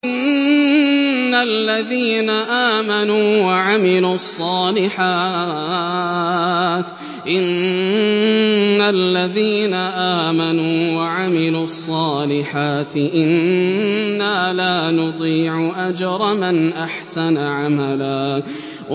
إِنَّ الَّذِينَ آمَنُوا وَعَمِلُوا الصَّالِحَاتِ إِنَّا لَا نُضِيعُ أَجْرَ مَنْ أَحْسَنَ عَمَلًا